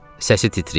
Səsi titrəyirdi.